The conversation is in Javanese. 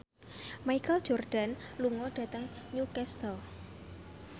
Michael Jordan lunga dhateng Newcastle